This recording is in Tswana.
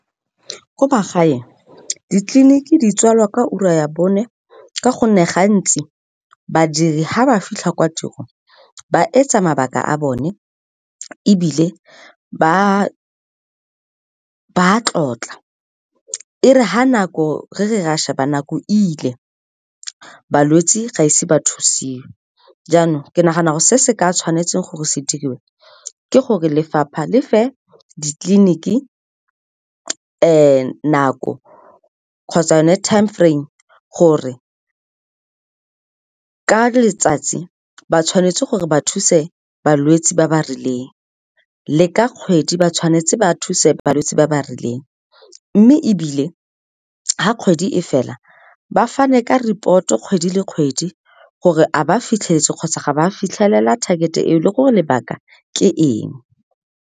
Ko magaeng ditleliniki di tswalwa ka ura ya bone, ka gonne gantsi badiri ga ba fitlhe kwa tirong ba etsa mabaka a bone, ebile ba tlotla. E re re re ra sheba nako ile, balwetse ga ise ba thusiwe. Jaanong ke nagana go se se ka tshwanetseng gore se diriwe ke gore lefapha le fa ditleliniki nako kgotsa yone time frame gore ka letsatsi ba tshwanetse gore ba thuse balwetse ba ba rileng, le ka kgwedi ba tshwanetse ba thuse balwetse ba ba rileng. Mme ebile ga kgwedi e fela, ba fane ka report-e kgwedi le kgwedi gore a ba fitlheletse kgotsa ga ba fitlhelela target-e e o le gore lebaka ke eng.